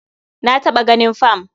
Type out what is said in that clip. Na taɓa ganin fam.